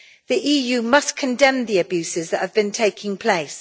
The EU must condemn the abuses that have been taking place.